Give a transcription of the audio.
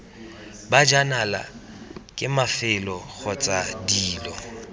bajanala ke mafelo kgotsa dilo